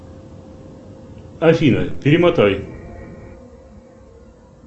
афина перемотай